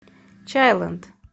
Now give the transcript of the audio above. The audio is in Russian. чайлэнд